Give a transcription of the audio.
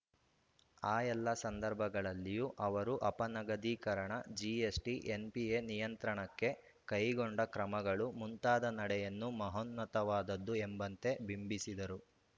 ಆ ಎಲ್ಲ ಸಂದರ್ಭಗಳಲ್ಲಿಯೂ ಅವರು ಅಪನಗದೀಕರಣ ಜಿಎಸ್‌ಟಿ ಎನ್‌ಪಿಎ ನಿಯಂತ್ರಣಕ್ಕೆ ಕೈಗೊಂಡ ಕ್ರಮಗಳು ಮುಂತಾದ ನಡೆಯನ್ನು ಮಹೋನ್ನತವಾದದ್ದು ಎಂಬಂತೆ ಬಿಂಬಿಸಿದರು